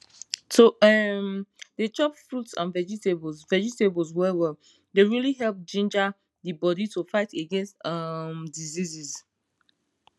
to um dey chop fruits and vegetables vegetables well well dey really help ginga the bodi to fight against um diseases